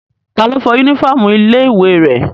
Ta lo fọ yúnífọ̀mù ilé ìwé rẹ̀?